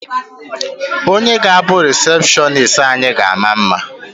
Onye ga-abụ rịsepshọnis anyị ga-ama mma.